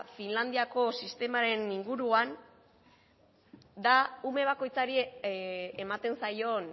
finlandiako sistemaren inguruan da ume bakoitzari ematen zaion